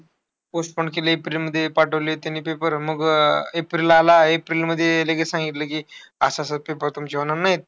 Postpone केली एप्रिलमध्ये. पाठवले त्यांनी paper मग अं एप्रिल आला. एप्रिलमध्ये लगेच सांगितलं की, अह असं-असं तुमचे paper होणार नाही.